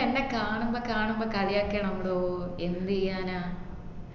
എന്നെ കാണുമ്പോ കാണുമ്പോ കളിയാക്കുവാന് bro എന്തെയ്യനാ